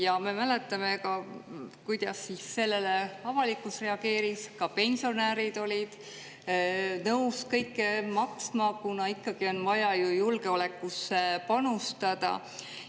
Ja me mäletame, kuidas sellele avalikkus reageeris, ka pensionärid olid nõus kõik maksma, kuna ikkagi on vaja ju julgeolekusse panustada.